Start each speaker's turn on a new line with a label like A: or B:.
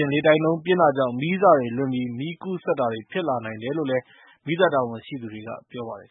A: ၊ လေတိုက်နှုန်းပြင်းတာကြောင့် မီးစတွေလွင့်ပြီး မီးကူးစက်တာတွေဖြစ်လာနိုင်တယ်လို့
B: မီးသတ်တာဝန်ရှိသူတွေက ပြောပါတယ်